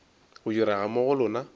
go direga mo go lona